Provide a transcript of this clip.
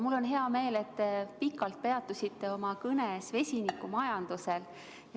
Mul on hea meel, et te pikalt peatusite oma kõnes vesinikumajandusel.